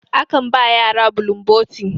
akan ba yara bulun boti